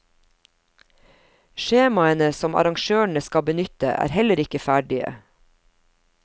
Skjemaene som arrangørene skal benytte, er heller ikke ferdige.